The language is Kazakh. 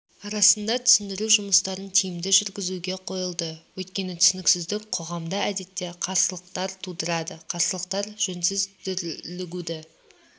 арасында түсіндіру жұмыстарын тиімді жүргізуге қойылды өйткені түсініксіздік қоғамда әдетте қарсылықтар тудырады қарсылықтар жөнсіз дүрлігуді